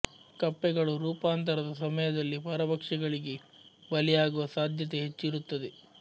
ಕಪ್ಪೆಗಳು ರೂಪಾಂತರದ ಸಮಯದಲ್ಲಿ ಪರಭಕ್ಷಗಳಿಗೆ ಬಲಿಯಾಗುವ ಸಾಧ್ಯತೆ ಹೆಚ್ಚು ಇರುತ್ತದೆ